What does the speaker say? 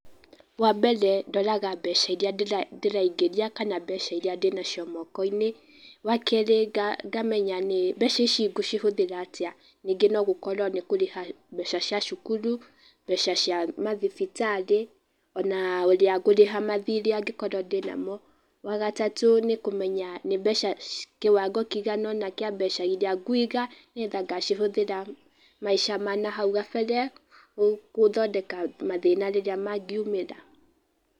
Wambere ndoraga mbeca iria ndĩraingĩria kana mbeca iria ndĩnacio mokoinĩ, wakerĩ ngamenya nĩ mbeca ici ngũcihũthĩra atĩa. Nĩngĩ no gũkorwo nĩ kũrĩha mbeca cia cukuru, mbeca cia mathibitarĩ, ona ũrĩa ngũrĩha mathirĩ angĩkorwo ndĩnamo. Wagatatũ nĩ kũmenya nĩ mbeca kĩwango kĩingana ũna kĩa mbeca iria nguiga, nĩgetha ngacihũthĩra maica ma nahau kabere gũthondeka mathĩna rĩrĩa mangiumĩra.